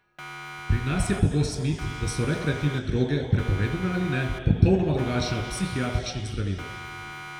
Pri nas je pogost mit, da so rekreativne droge, prepovedane ali ne, popolnoma drugačne od psihiatričnih zdravil.